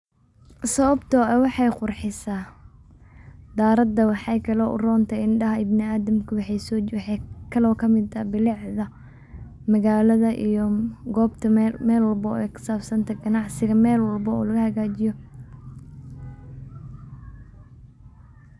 sababto ah waxay qurxiisa daarada waxakale oy urontahay indha ibni adamka waxa kale oo kamid ah bilicda magaalada iyo gobta mel walbo ay kasabsante, ganacsiga mel walbo oo lagahagjiyo